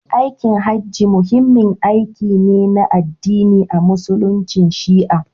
Aikin Hajji muhimmin aiki ne na addini a Musulunci Shi'a.